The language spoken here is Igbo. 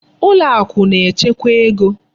Ụlọakụ na-echekwa ego.